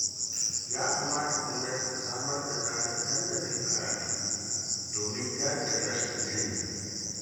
Ya kamata gwamnati ta samar da tsarin tallafin karatu domin daƙile rashin ilimi.